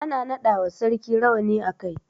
Ana naɗa wa sarki rawani a kai.